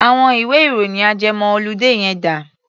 Àwọn ìwé-ìròyìn ajẹmọ-oludé yẹn dà?